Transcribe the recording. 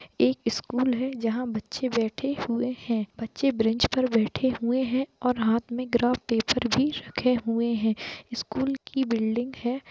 एक स्कूल हैं जहाँ बच्चे बैठे हुए हैं बच्चे बेंच पर बैठे हुए है और कुछ हाथ में ग्राफ पेपर भी रखे हुए है स्कूल की बिल्डिंग हैं ।